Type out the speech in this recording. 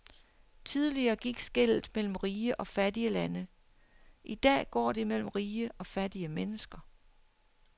Tidligere gik skellet mellem rige og fattige lande, i dag går det mellem rige og fattige mennesker.